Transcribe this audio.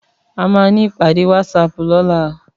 Àmá ni ipàdé wàtsáp lòlá